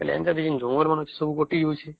ବୋଲେ ଏମିତି ଜଙ୍ଗଲ ମାନ ସବୁ କାଟି ଯାଉଛେ